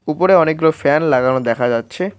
উপরে অনেকগুলো ফ্যান লাগানো দেখা যাচ্ছে।